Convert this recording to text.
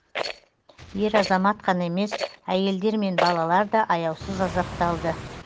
ер азамат қана емес әйелдер мен балалар да аяусыз азапталды